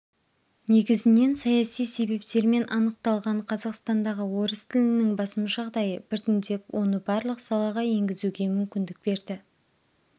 негізінен саяси себептермен анықталған қазақстандағы орыс тілінің басым жағдайы біртіндеп оны барлық салаға енгізуге мүмкіндік берді